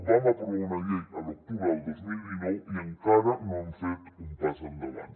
vam aprovar una llei a l’octubre del dos mil dinou i encara no hem fet un pas endavant